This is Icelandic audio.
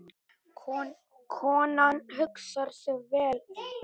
Konan hugsar sig vel um.